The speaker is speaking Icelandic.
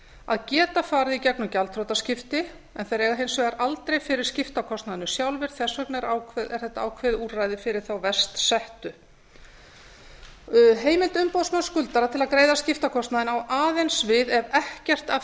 að geta farið í gegnum gjaldþrotaskipti en þeir eiga hins vegar aldrei fyrir skiptakostnaðinum sjálfir þess vegna er þetta ákveðið úrræði fyrir þá verst settu heimild umboðsmanns skuldara til að greiða skiptakostnaðinn á aðeins við ef ekkert af